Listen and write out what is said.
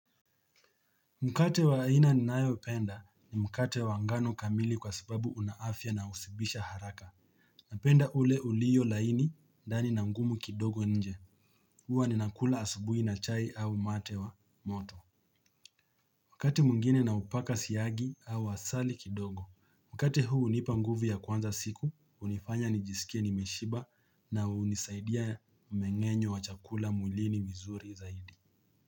Mkate wa aina ninayopenda ni mkate wa ngano kamili kwa sababu una afya na hushibisha haraka Napenda ule ulio laini ndani na ngumu kidogo nje. Huwa ninakula asubuhi na chai au mate wa moto. Wakati mwingine naupaka siagi au asali kidogo. Mkate huu hunipa nguvu ya kuanza siku, hunifanya nijisikie nimeshiba na hunisaidia mmeng'enyo wa chakula mwilini vizuri zaidi.